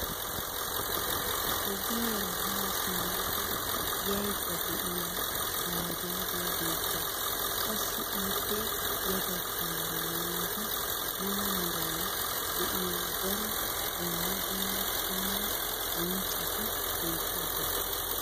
ogiyaara haa simmada yaydda de'iya baajaajiya beetawusu. qassi ippe ya bagaara maata mala meray de'iyo daro dumma dumma qommo bonccoti beetoosona.